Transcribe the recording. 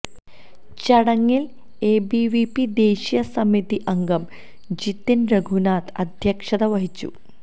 ചടങ്ങില് എബിവിപി ദേശീയ സമിതി അംഗം ജിതിന് രഘുനാഥ് അദ്ധ്യക്ഷത വഹിച്ചു